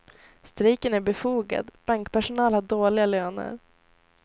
Strejken är befogad, bankpersonal har dåliga löner.